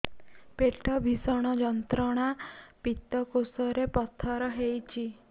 ପେଟ ଭୀଷଣ ଯନ୍ତ୍ରଣା ପିତକୋଷ ରେ ପଥର ହେଇଚି